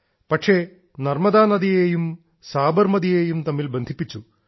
പക്ഷേ നർമ്മദാ നദിയെയും സാബർമതി നദിയെയും തമ്മിൽ ബന്ധിപ്പിച്ചു